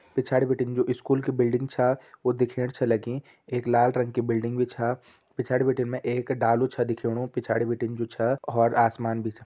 पिछाड़ी बटिन जो इस्कूल की बिल्डिंग छा वो दिखेण छ लगी एक लाल रंग की बिल्डिंग भी छा पिछाड़ी बटिन मै एक डालू छ दिखौणु पिछाड़ी बटिन जू छा हौर आसमान भी छा।